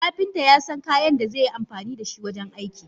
Kapinta yasan kayan da zeyi amfanida shi wajen aiki.